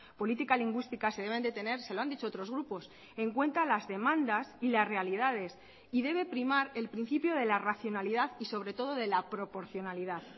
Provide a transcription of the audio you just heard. política lingüística se deben de tener se lo han dicho otros grupos en cuenta las demandas y las realidades y debe primar el principio de la racionalidad y sobre todo de la proporcionalidad